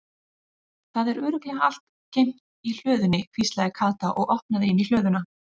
Það er örugglega allt geymt í hlöðunni hvíslaði Kata og opnaði inn í hlöðuna.